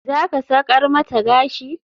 Zaka sakar mata gashi?